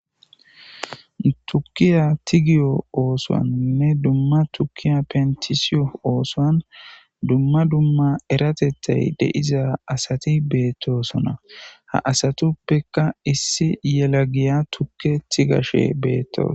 Tukiya tigiyo tigiyo othuwanne tukiya pentisiyo othoni dumma dumma eratethay de'iyo asati betosona ha asatuppeka issi yelagiyaa tukiya tigashe betosona